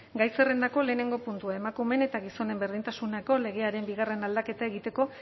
gai zerrendako lehenengo puntua emakumeen eta gizonen berdintasunerako legearen bigarren aldaketa egiteko